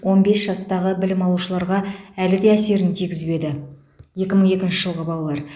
он бес жастағы білім алушыларға әлі де әсерін тигізбеді екі мың екінші жылғы балалар